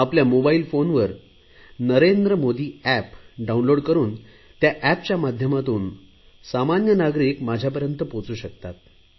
आपल्या मोबाईल फोनवर Narendra Modi app download करुन त्या एपच्या माध्यमातून सामान्य नागरिक माझ्यापर्यंत पोहचू शकतो